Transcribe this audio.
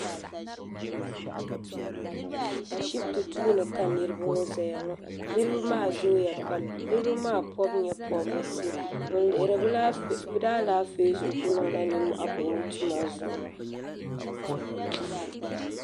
A shiti duuni ka miriba ŋɔ zaya ŋɔ niriba maa zooya pam niribi maa pobi nyɛpobirisi n lihori bɛ daalaafee zuɣu